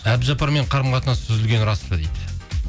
әбдіжаппармен қарым қатынасы үзілгені рас па дейді